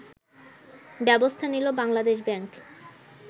ব্যবস্থা নিল বাংলাদেশ ব্যাংক